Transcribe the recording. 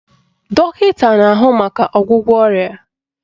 Dọkịta na-ahụ maka ọgwụgwọ ọrịa